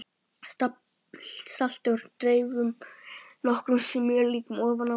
Saltið og dreifið nokkrum smjörklípum ofan á.